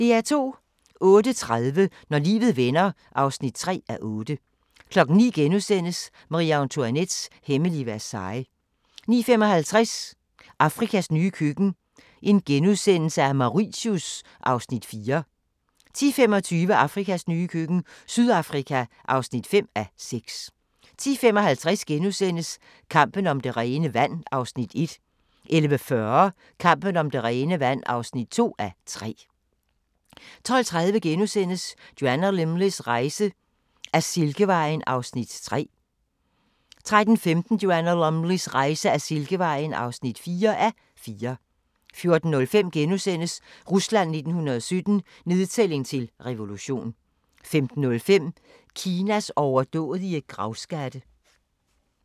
08:30: Når livet vender (3:8) 09:00: Marie-Antoinettes hemmelige Versailles * 09:55: Afrikas nye køkken – Mauritius (4:6)* 10:25: Afrikas nye køkken – Sydafrika (5:6) 10:55: Kampen om det rene vand (1:3)* 11:40: Kampen om det rene vand (2:3) 12:30: Joanna Lumleys rejse ad Silkevejen (3:4)* 13:15: Joanna Lumleys rejse ad Silkevejen (4:4) 14:05: Rusland 1917 – nedtælling til revolution * 15:05: Kinas overdådige gravskatte